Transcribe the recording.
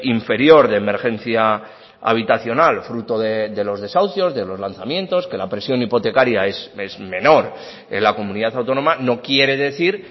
inferior de emergencia habitacional fruto de los desahucios de los lanzamientos que la presión hipotecaria es menor en la comunidad autónoma no quiere decir